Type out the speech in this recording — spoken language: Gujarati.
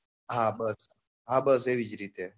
હા બસ, હા બસ એવી જ રીતે,